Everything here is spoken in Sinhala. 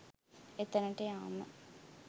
එතැනට යාම